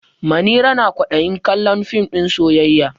Manira na kwaɗayin kallon fim ɗin soyayya.